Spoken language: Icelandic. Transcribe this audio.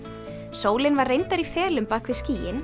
sólin var reyndar í felum bak við skýin